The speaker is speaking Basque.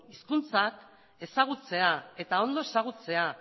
hizkuntzak ezagutzea eta ondo ezagutzea